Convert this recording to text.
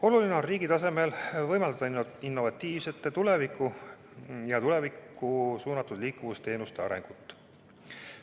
Oluline on riigi tasemel võimaldada innovatiivsete ja tulevikku suunatud liikuvusteenuste arengut.